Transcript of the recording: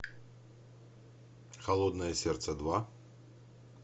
холодное сердце два